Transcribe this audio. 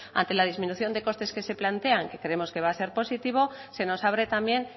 ante la disminución de costes que se plantean que creemos que va a ser positivo se nos abre también